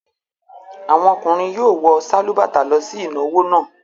Àwọn ọkùnrin yóò wọ sálúbàtà lọ sí ìnáwó náà.